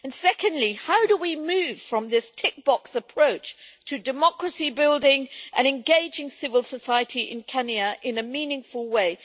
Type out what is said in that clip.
Secondly, how do we move from this tick box approach towards democracy building and engaging civil society in Kenya in a meaningful way?